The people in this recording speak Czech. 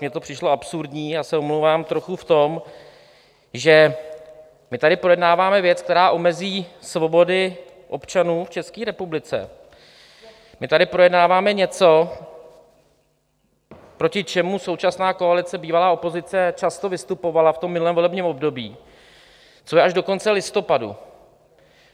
Mně to přišlo absurdní, já se omlouvám, trochu v tom, že my tady projednáváme věc, která omezí svobody občanů v České republice, my tady projednáváme něco, proti čemu současná koalice, bývalá opozice, často vystupovala v tom minulém volebním období, co je až do konce listopadu.